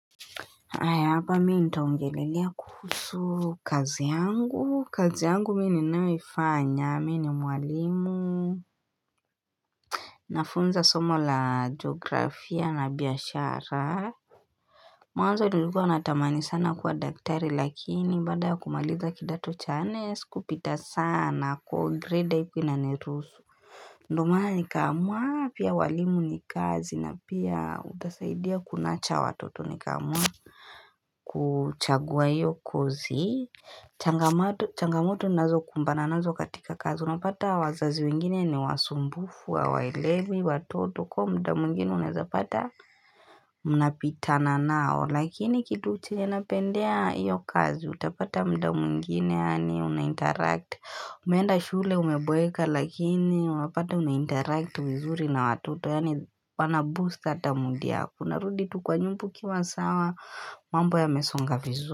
Ae hapa mii nitaongelelea kuhusu kazi yangu, kazi yangu mii ni naifanya, mii ni mwalimu Nafunza somo la geografia na biashara Mwanzo nilikuwa natamani sana kuwa daktari lakini bada ya kumaliza kidato cha nne sikupita sana kwa grade ipinanerusu Ndomana nikaamua, pia walimu nikazi na pia utasaidia kunacha watoto nikaamua kuchagua iyo kozi Changamoto nazo kumbana nazo katika kazi Unapata wazazi wengine ni wasumbufu, wa waelewi, watoto Kwa mda mwingine unazapata Unapitana nao Lakini kitu che nye napendea iyo kazi Utapata mda mwingine yaani unainteract Umenda shule umeboeka Lakini unapata unainteract vizuri na watoto Yani wana boost atamood yako unarudi tukwa nyumba ukiwa sawa mambo yamezonga vizuri.